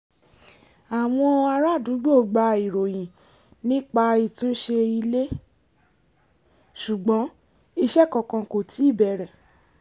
àwọn ará àdúgbò gba ìròyìn nípa ìtúnṣe ilé ṣùgbọ́n iṣẹ́ kankan kò tíì bẹ̀rẹ̀